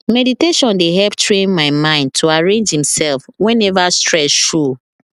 meditation dey help train my mind to arrange himself whenever stress show